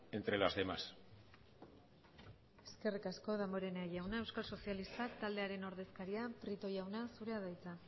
entre las demás eskerrik asko damborenea jauna euskal sozialistak taldearen ordezkaria prieto jauna zurea da hitza